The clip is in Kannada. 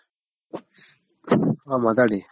ಹಾ ಮಾತಾಡಿ.